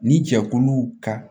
Ni jɛkuluw ka